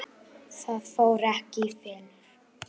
Ekki það.?